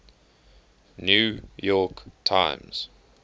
new york times